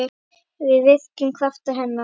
Við virkjum kraft hennar.